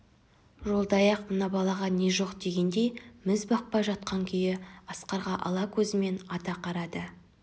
жолдаяқ мына балаға не жоқдегендей міз бақпай жатқан күйі аскарға ала көзімен ата қарады